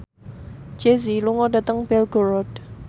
Jay Z lunga dhateng Belgorod